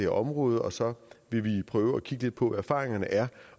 område og så vil vi prøve at kigge lidt på hvad erfaringerne er